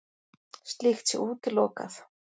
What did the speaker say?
Slíkt sé útilokað